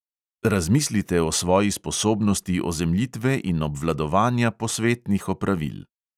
Razmislite o svoji sposobnosti ozemljitve in obvladovanja posvetnih opravil.